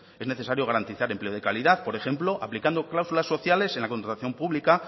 es necesario garantizar empleo de calidad por ejemplo aplicando cláusulas sociales en la contratación pública